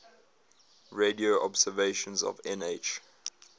radio observations of nh